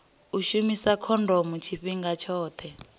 u shumisa khondomo tshifhinga tshoṱhe